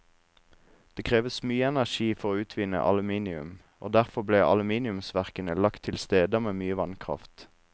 Det kreves mye energi for å utvinne aluminium, og derfor ble aluminiumsverkene lagt til steder med mye vannkraft.